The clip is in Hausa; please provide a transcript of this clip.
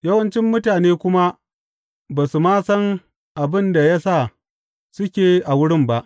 Yawancin mutane kuma ba su ma san abin da ya sa suke a wurin ba.